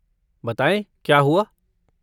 बताएं, क्या हुआ?